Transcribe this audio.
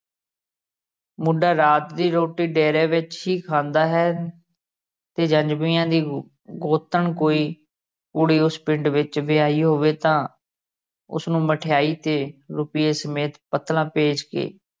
ਮੁੰਡਾ ਰਾਤ ਦੀ ਰੋਟੀ ਡੇਰੇ ਵਿਚ ਹੀ ਖਾਂਦਾ ਹੈ ਤੇ ਦੀ ਗੋਤਣ ਕੋਈ ਕੁੜੀ ਉਸ ਪਿੰਡ ਵਿਚ ਵਿਆਹੀ ਹੋਵੇ ਤਾ ਉਸਨੂੰ ਮਠਿਆਈ ਤੇ ਰੁਪਈਏ ਸਮੇਤ ਪੱਤਰਾਂ ਭੇਜ ਕੇ